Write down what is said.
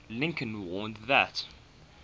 lincoln warned that